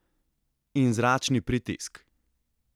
In zračni pritisk!